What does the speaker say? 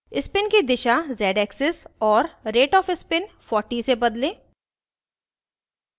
spin की दिशा z axis और rate of spin 40 से बदलें